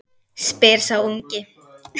spyr sá ungi.